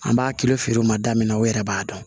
An b'a kilo feere o ma da min na u yɛrɛ b'a dɔn